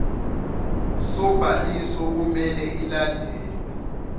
sobhaliso kumele ilandelwe